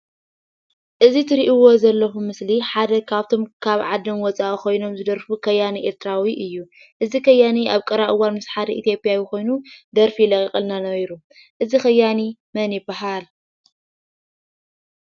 እዚ ትሪእዎ ዘለኹም ምስሊ ሓደ ካብቶም ካብ ዓዶም ወፃኢ ኾይኖም ዝደርፉ ከያኒ ኤርትራዊ እዩ፡፡ እዚ ከያኒ ኣብ ቀረባ እዋን ምስ ሓደ ኢትዮጵያዊ ኮይኑ ደርፊ ለቒቑልና ነይሩ፡፡ እዚ ከያኒ መን ይባሃል?